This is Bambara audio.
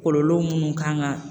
Kɔlɔlɔ munnu kan ka